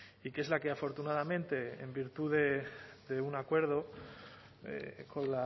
y que es la que afortunadamente en virtud de un acuerdo con